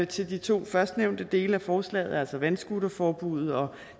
til de to førstnævnte dele af forslaget altså vandscooterforbuddet og